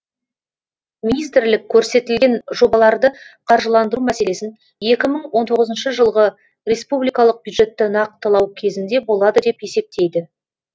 министрлік көрсетілген жобаларды қаржыландыру мәселесін екі мың он тоғызыншы жылғы республикалық бюджетті нақтылау кезінде болады деп есептейді